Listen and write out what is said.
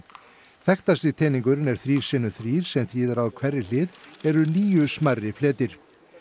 þekktasti teningurinn er þrír sinnum þrír sem þýðir að á hverri hlið eru níu smærri fletir